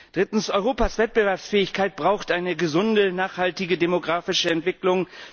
Drittens Europas Wettbewerbsfähigkeit braucht eine gesunde nachhaltige demografische Entwicklung.